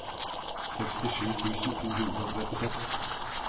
sekstisju tusen to hundre og trettiseks